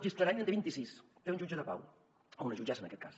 gisclareny en té vint i sis té un jutge de pau o una jutgessa en aquest cas